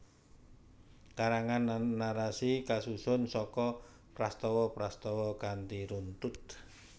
Karangan narasi kasusun saka prastawa prastawa kanthi runtut